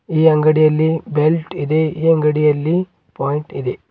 ಈ ಅಂಗಡಿಯಲ್ಲಿ ಬೆಲ್ಟ್ ಇದೆ ಈ ಅಂಗಡಿಯಲ್ಲಿ ಪಾಯಿಂಟ್ ಇದೆ.